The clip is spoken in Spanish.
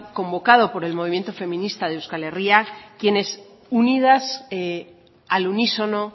convocado por el movimiento feminista de euskal herria quienes unidas al unísono